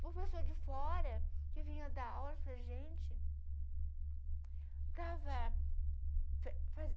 Uma pessoa de fora que vinha dar aula para gente. Dava fa fa